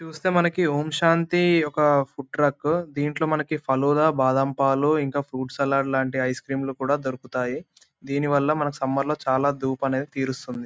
ఇక్కడ చూస్తే మనకి ఓం శాంతి ఒక ఫుడ్ ట్రక్కు . దీంట్లో మనకు పలోడ బాదం పాలు ఇంకా ఫ్రూట్ సలాడ్ లాంటి ఐస్ క్రీమ్ లు కూడా దొరుకుతాయి. దీని వల్ల మనకు సమ్మర్ లో చాలా దూప్ అనేది తీరుస్తుంది.